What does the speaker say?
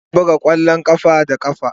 Ana buga kwallon kafa da kafa.